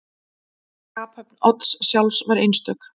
Skaphöfn Odds sjálfs var einstök.